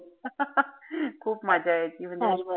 खूप मजा यायची म दिवसभर